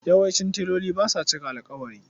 Yawancin teloli ba sa cika alƙawari.